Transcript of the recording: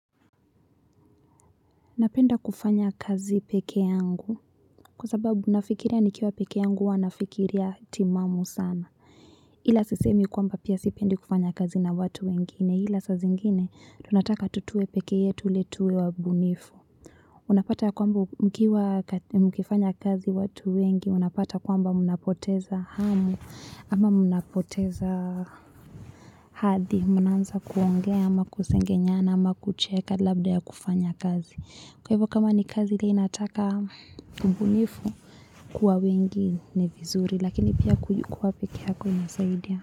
Napenda kufanya kazi peke yangu kwa sababu nafikiria nikiwa peke yangu hua nafikiria timamu sana ila sisemi kwamba pia sipendi kufanya kazi na watu wengine ila saa zingine tu nataka tuwe peke yetu ill tuwe wabunifu Unapata kwamba mkiwa mkifanya kazi watu wengi, unapata kwamba mnapoteza hamu, ama mnapoteza hadi, mnaanza kuongea, ama kusengenyana ama kucheka labda ya kufanya kazi. Kwa hivyo kama ni kazi linataka ubunifu kuwa wengi ni vizuri, lakini pia kuwa peke yako inasaidia.